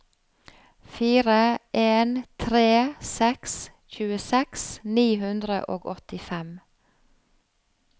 fire en tre seks tjueseks ni hundre og åttifem